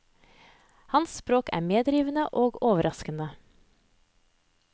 Hans sprog er medrivende og overraskende.